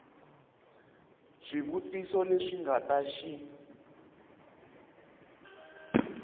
swivutiso leswi nga ta xi